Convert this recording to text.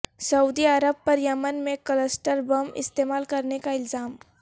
سعودی عرب پر یمن میں کلسٹر بم استعمال کرنے کا الزام